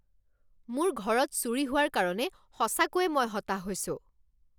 মোৰ ঘৰত চুৰি হোৱাৰ কাৰণে সঁচাকৈয়ে মই হতাশ হৈছোঁ।